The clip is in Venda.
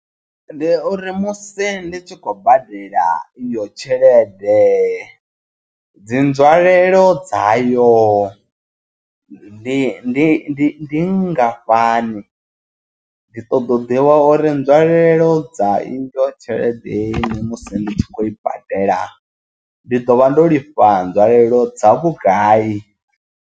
Ndi uri musi ndi tshi khou badela iyo tshelede dzi nzwalelo dzayo ndi ndi ndi ndi nngafhani, ndi ṱoḓa u ḓivha uri nzwalelo dza iyo tshelede i musi ndi tshi khou i badela ndi ḓo vha ndo lifha nzwalelo dza vhugai.